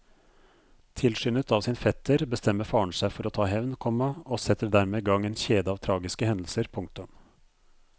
Tilskyndet av sin fetter bestemmer faren seg for å ta hevn, komma og setter dermed i gang en kjede av tragiske hendelser. punktum